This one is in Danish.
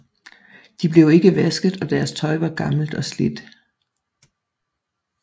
De blev ikke vasket og deres tøj var gammelt og slidt